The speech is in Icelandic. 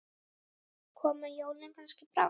Koma jólin kannski brátt?